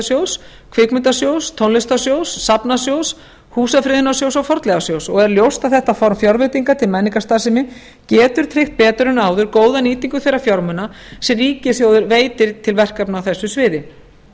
leiklistarsjóðs kvikmyndasjóðs tónlistarsjóðs safnasjóðs húsafriðunarsjóðs og fornleifasjóðs og er ljóst að þetta form fjárveitinga til menningarstarfsemi getur tryggt betur en áður góða nýtingu þeirra fjármuna sem ríkissjóður veitir til verkefna á þessu sviði